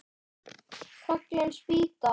Fallin spýta!